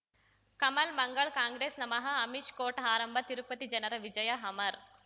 ಕಮಲ್ ಮಂಗಳ್ ಕಾಂಗ್ರೆಸ್ ನಮಃ ಅಮಿಷ್ ಕೋರ್ಟ್ ಆರಂಭ ತಿರುಪತಿ ಜನರ ವಿಜಯ ಅಮರ್